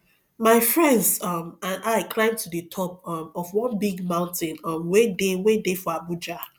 my friends um and i climb to the top um of one big mountain um wey dey wey dey for abuja